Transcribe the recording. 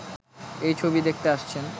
এই ছবি দেখতে আসছেন।